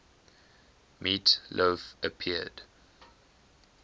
meat loaf appeared